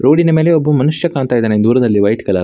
ರೋಡಿನ ಮೇಲೆ ಒಬ್ಬ ಮನುಷ್ಯ ಕಾಣ್ತ್ ಇದ್ದಾನೆ ದೂರದಲ್ಲಿ ವೈಟ್ ಕಲರ್ .